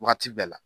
Wagati bɛɛ la